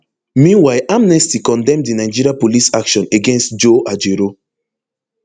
meanwhile amnesty condemn di nigeria police action against joe ajaero